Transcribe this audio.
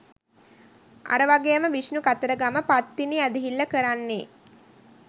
අර වගේම විෂ්ණු කතරගම පත්තිනි ඇදහිල්ල කරන්නේ